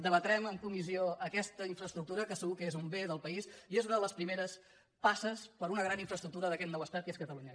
debatrem en comissió aquesta infraestructura que segur que és un bé del país i és una de les primeres passes per a un gran infraestructura d’aquest nou estat que és catalunya